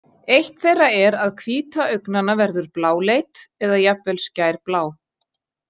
Eitt þeirra er að hvíta augnanna verður bláleit eða jafnvel skærblá.